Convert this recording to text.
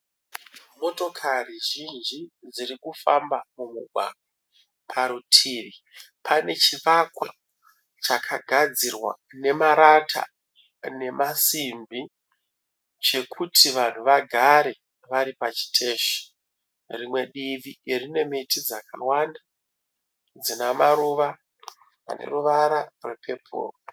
Motokari zhinji dziri kufamba mumugwagwa. Parutivi pane chivakwa chakagadzirwa nemarata nemasimbi chekuti vanhu vagare vari pachiteshi. Rimwe divi rine miti dzakawanda dzina maruva ane ruvara rwepepuro.